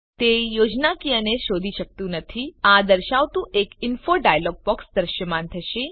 તે યોજનાકીયને શોધી શકતું નથી આ દર્શાવતું એક ઇન્ફો ડાયલોગ બોક્સ દ્રશ્યમાન થશે